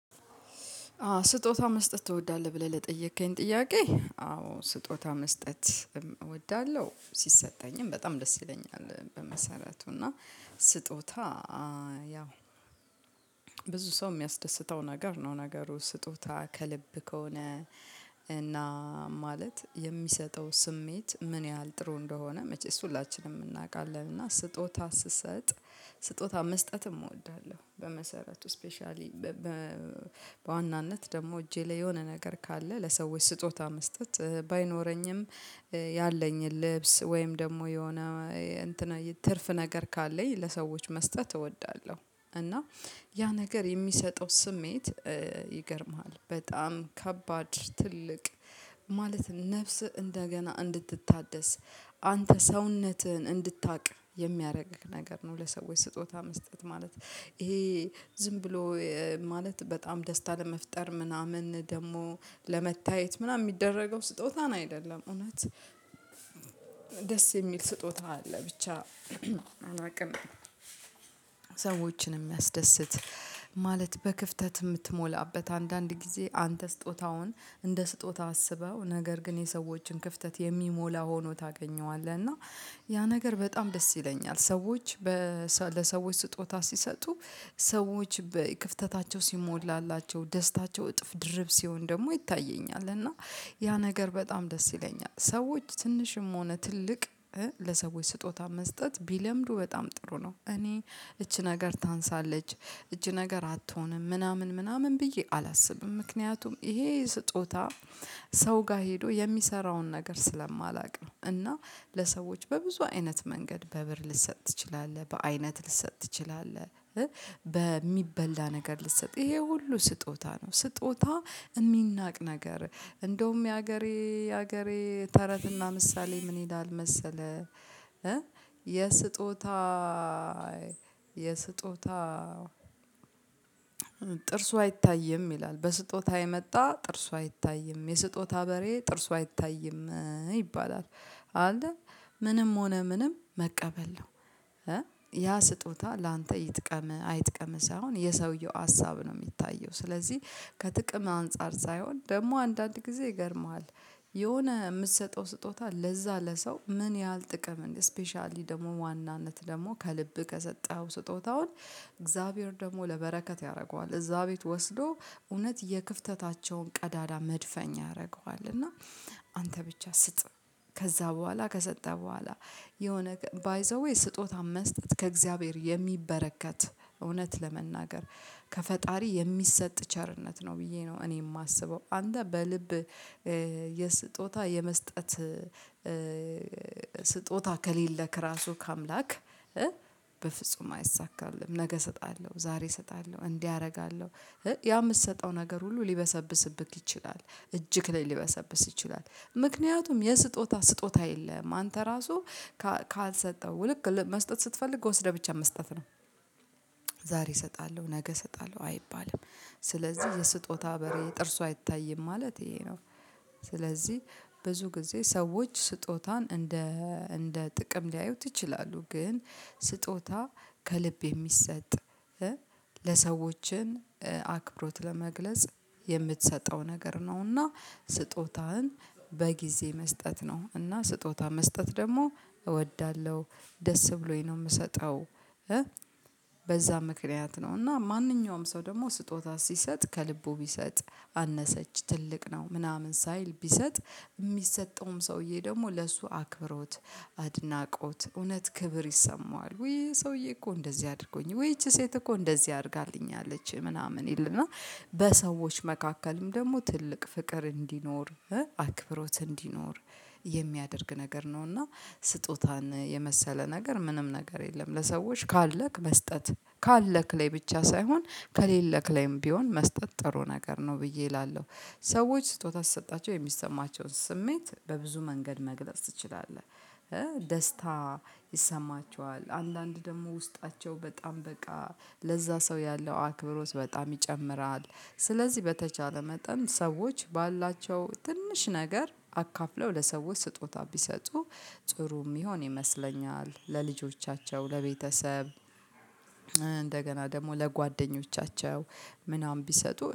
አዎ “ስጦታ መስጠት ትወዳለህ?” ብለህ ለጠየቅከኝ ጥያቄ፣ አዎ፣ ስጦታ መስጠት እወዳለሁ። ሲሰጠኝም በጣም ደስ ይለኛል፣ በመሰረቱ እና ስጦታ ያው ብዙ ሰውን የሚያስደስተው ነገር ነው። ነገሩ ስጦታው ከልብ ከሆነ እና ማለት፣ የሚሰጠው ስሜት ምን ያህል ጥሩ እንደሆነ መቼስ ሁላችንም እናውቃለን። እና ስጦታ ስሰጥ ስጦታ መስጠትም እወዳለሁ፤ በመሰረቱ፣ ስፔሻሊ በዋናነት ደግሞ፣ እጄ ላይ የሆነ ነገር ካለ፣ ለሰዎች ስጦታ መስጠት ባይኖረኝም ያለኝን ልብስ ወይም ደግሞ የሆነ እንትን ትርፍ ነገር ካለኝ፣ ለሰዎች መስጠት እወዳለሁ። እና ያ ነገር የሚሰጠው ስሜት ይገርምሃል፤ በጣም ከባድ፣ ትልቅ ማለት ነው፤ ነፍስ እንደገና እንድትታደስ አንተ ሰውነትህን እንድታቅ የሚያረግ ነገር ነው፤ ለሰዎች ስጦታ መስጠት ማለት። ይሄ ዝም ብሎ ማለት በጣም ደስታ ለመፍጠር ምናምን፣ ደግሞ ለመታየት ምናምን የሚደረገው ስጦታን አይደለም፤ እውነት። ደስ የሚል ስጦታ አለ፣ ብቻ አላቅም፤ ሰዎችን የሚያስደስት ማለት፣ በክፍተት የምትሞላበት። አንዳንድ ጊዜ አንተ ስጦታውን እንደ ስጦታ አስበው፣ ነገር ግን የሰዎችን ክፍተት የሚሞላ ሆኖ ታገኘዋለህ፣ እና ያ ነገር በጣም ደስ ይለኛል። ሰዎች በ ለሰዎች ስጦታ ሲሰጡ፣ ሰዎች በክፍተታቸው ሲሞላላቸው፣ ደስታቸው እጥፍ ድርብ ሲሆን ደግሞ ይታየኛል። እና ያ ነገር በጣም ደስ ይለኛል፤ ሰዎች ትንሽም ሆነ ትልቅ ለሰዎች ስጦታ መስጠት ቢለምዱ በጣም ጥሩ ነው። እኔ "ይች ነገር ታንሳለች"፣ "ይች ነገር አትሆንም" ምናምን ብዬ አላስብም፤ ምክንያቱም ይሄ ስጦታ ሰው ጋር ሄዶ የሚሰራውን ነገር ስለማላቅ ነው፤ እና ለሰዎች በብዙ አይነት መንገድ በብር ልትሰጥ ትችላለህ፣ በአይነት ልትሰጥ ትችላለህ። በሚበላ ነገር ልትሰጥ ይሄ ሁሉ ስጦታ ነው። ስጦታ የሚናቅ ነገር አይደለም፤ እንደውም የሀገሬ የሀገሬ ተረትና ምሳሌ ምን ይላል መሰለህ? "የስጦታ፣ የስጦታ ጥርሱ አይታይም" ይላል፤ "በስጦታ የመጣ ጥርሱ አይታይም"፣ "የስጦታ በሬ ጥርሱ አይታይም" ይባላል፣ አይደል? ምንም ሆነ ምንም መቀበል ነው። ያ ስጦታ ላንተ ይጥቀምህ፣ አይጥቀምህ ሳይሆን የሰውየው ሀሳብ ነው የሚታየው፤ ስለዚህ ከጥቅም አንፃር ሳይሆን ደግሞ አንዳንድ ጊዜ ይገርምሃል። የሆነ የምትሰጠው ስጦታ ለዛ ለሰው ምን ያህል ጥቅም እን ስፔሻሊ ደግሞ ዋናነት ደግሞ ከልብ ከሰጠኸው፣ ስጦታውን እግዚአብሔር ደግሞ ለበረከት ያደርገዋል። እዛ ቤት ወስዶ እውነት የክፍተታቸውን ቀዳዳ መድፈኛ ያደርገዋል፤ እና አንተ ብቻ ስጥ! ከዛ በኋላ፣ ከሰጠ በኋላ የሆነ ባይ ዘ ዌይ፣ ስጦታም መስጠት ከእግዚአብሔር የሚበረከት፣ እውነት ለመናገር ከፈጣሪ የሚሰጥ ቸርነት ነው ብዬ ነው እኔ የማስበው። አንተ በልብ የስጦታ፣ የመስጠት ስጦታ ከሌለክ ራሱ ከአምላክ በፍጹም አይሳካልህም! "ነገ እሰጣለሁ"፣ "ዛሬ እሰጣለሁ"፣ "እንዲህ አደርጋለሁ" ያ የምትሰጠው ነገር ሁሉ ሊበሰብስብህ ይችላል፤ እጅህ ላይ ሊበሰብስ ይችላል። ምክንያቱም የስጦታ ስጦታ የለህም፤ አንተ ራሱ ካል ካልሰጠኸው ልክ መስጠት ስትፈልግ፣ ወሰድህ ብቻ መስጠት ነው። ዛሬ እሰጣለሁ"፣ "ነገ እሰጣለሁ" አይባልም። ስለዚህ "የስጦታ በሬ ጥርሱ አይታይም" ማለት ይሄ ነው። ስለዚህ ብዙ ጊዜ ሰዎች ስጦታን እንደ እንደ ጥቅም ሊያዩት ይችላሉ፤ ግን ስጦታ ከልብ የሚሰጥ ለሰዎችን አክብሮት ለመግለጽ የምትሰጠው ነገር ነው እና ስጦታህን በጊዜ መስጠት ነው፤ እና ስጦታ መስጠት ደግሞ እወዳለሁ—ደስ ብሎኝ ነው የምሰጠው። በዛ ምክንያት ነው፤ እና ማንኛውም ሰው ደግሞ ስጦታ ሲሰጥ ከልቡ ቢሰጥ፣ "አነሰች"፣ "ትልቅ ነው" ምናምን ሳይል ቢሰጥ—የሚሰጠውም ሰውዬ ደግሞ ለሱ አክብሮት፣ አድናቆት፣ እውነት ክብር ይሰማዋል። "ወይ ሰውዬ እኮ እንደዚህ አድርጎኝ" ወይ "ይቺ ሴት እኮ እንደዚህ አድርጋልኛለች" ምናምን ይል፤ እና በሰዎች መካከልም ደግሞ ትልቅ ፍቅር እንዲኖር፣ አክብሮት እንድኖር የሚያደርግ ነገር ነው እና ስጦታን የመሰለ ነገር ምንም ነገር የለም! "ለሰዎች ካለክ መስጠት "—ካለክ ላይ ብቻ ሳይሆን፣ ከሌለክ ላይም ቢሆን መስጠት ጥሩ ነገር ነው ብዬ እላለሁ። ሰዎች ስጦታ ስትሰጣቸው የሚሰማቸውን ስሜት በብዙ መንገድ መግለጽ ትችላለህ፤ ደስታ ይሰማቸዋል፤ አንዳንድ ደግሞ ውስጣቸው በጣም በቃ ለዛ ሰው ያለው አክብሮት በጣም ይጨምራል። ስለዚህ በተቻለ መጠን ሰዎች ባላቸው ትንሽ ነገር አካፍለው ለሰዎች ስጦታ ቢሰጡ ጥሩ የሚሆን ይመስለኛል—ለልጆቻቸው፣ ለቤተሰብ፣ እንደገና ደግሞ ለጓደኞቻቸው ምናምን ቢሰጡ